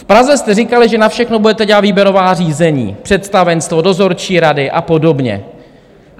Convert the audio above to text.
V Praze jste říkali, že na všechno budete dělat výběrová řízení - představenstvo, dozorčí rady a podobně.